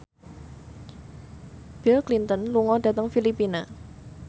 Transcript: Bill Clinton lunga dhateng Filipina